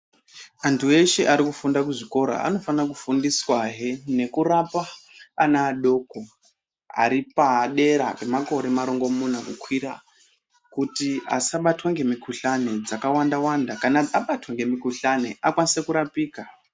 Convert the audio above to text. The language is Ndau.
Antu eshe ari kufunda kuzvikora anofanira kufundiswahe nekurapa ana adoko ari padera pemakore marongomuna kukwira kuti asabatwa ngemikuhlani dzakawanda wanda kana abatwa ngemukuhlani akwanise kurapika.